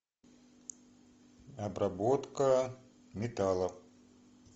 обработка металла